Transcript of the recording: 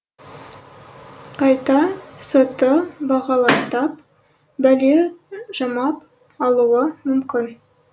қайта сотты бағалаттап бәле жамап алуы мүмкін